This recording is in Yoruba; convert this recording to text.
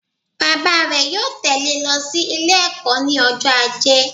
Bàbá rè yóò tẹ̀lẹ́ e lo sí Ilé ẹ̀kó ní ọjọ́ ajé